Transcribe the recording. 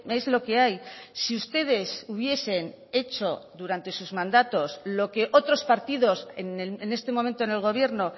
es lo que hay si ustedes hubiesen hecho durante sus mandatos lo que otros partidos en este momento en el gobierno